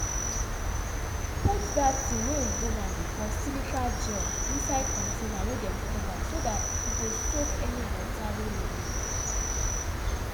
put dat thing wey oyibo man dey call "silica gel" inside contaiber wey dem cover so dat e go soak any water wey remain